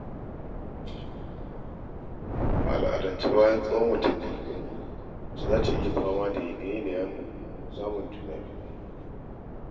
A al'adance bayan tsawon watanni mace za ta yi fama da yanaye-yanayen samun juna-biyu.